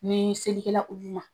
Ni seli kɛla ulu ma.